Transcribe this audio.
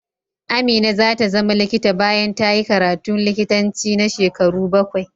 Amina za ta zama likita bayan ta yi karatun likitanci na shekaru bakwai.